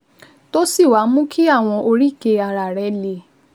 tó sì wá mú kí àwọn oríkèé ara rẹ le